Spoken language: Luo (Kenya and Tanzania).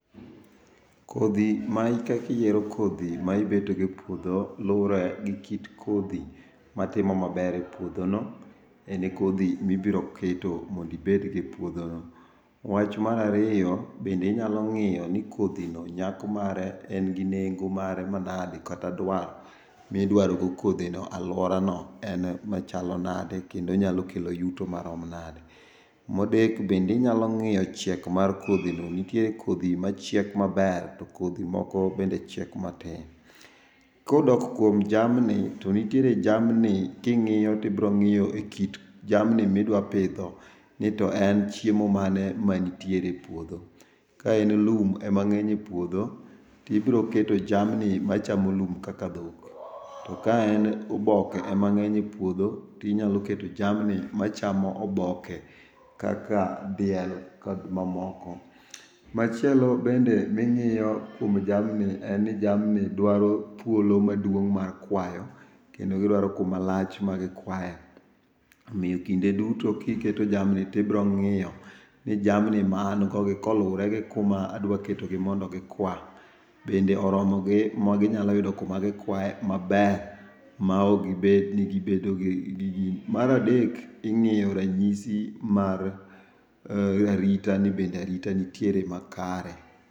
Kodhi ma kaka iyiero kodhi ma ibedo go e puodho luore gi kit kodhi ma timo maber e puodho no, en kodhi mibiro keto mondo obed godo e puodho no. Wach mar ariyo bende inyalo ngiyo ni kodhino nyak mare en gi nengo mare manade kata dwaro midwaro go kodhino e aluora no en machalo nade kendo nyalo kelo yuto marom nade. Mar adek bende inyalo ngiyo chiek mar kodhino, nitie kodhi machiek maber to moko bende chiek matin. Kodok kuom jamni to nitiere jamni kingiyo tibiro ngiyo ekind jamni midwa pidho ni to chiemo mane manitie e puodho ka en lum ema ngeny e puodho tibiro keto jamni machamo lum kaka dhok, to ka en oboke ema ngeny e puodho to inyalo keto jamni machamo oboke kaka diel kod mamoko. Machielo bende mingiyo kuom jamni en ni jamni dwaro thuolo maduong mar kwayo kendo gidwaro kuma lach magikwaye omiyo kinde duto kiketo jamni tibiro ngiyo ni jamni ma an go gi, kolure gi kuma adwa ketogi mondo gikwa, bende oromogi maginyalo yudo kuma gikwaye maber maok gibed ni gibedo gi...mar adek ingiyo ranyisi mar arita nibende arita nitiere makare